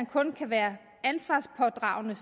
kun kan være ansvarspådragende